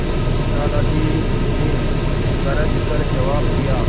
दादाजी ने गरज कर जवाब दिया